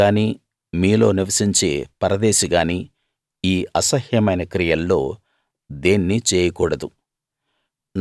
మీరు గానీ మీలో నివసించే పరదేశి గాని యీ అసహ్యమైన క్రియల్లో దేన్నీ చేయకూడదు